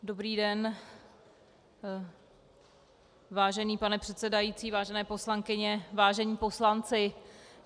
Dobrý den, vážený pane předsedající, vážené poslankyně, vážení poslanci.